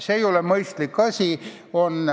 See ei ole mõistlik.